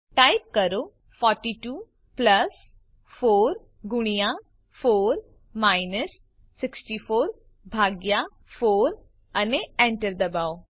type કરો 42 plus 4 ગુણ્યા 4 minus 64 ભાગ્યા 4 અને enter દબાવો